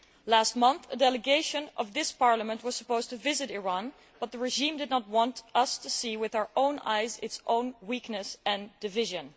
Last month, a delegation of this Parliament was supposed to visit Iran, but the regime did not want us to see with our own eyes its own weakness and division.